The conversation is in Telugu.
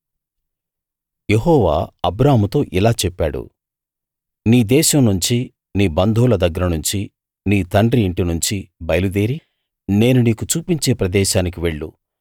యెహోవా అబ్రాముతో ఇలా చెప్పాడు నీ దేశం నుంచి నీ బంధువుల దగ్గర నుంచి నీ తండ్రి ఇంటి నుంచి బయలుదేరి నేను నీకు చూపించే ప్రదేశానికి వెళ్ళు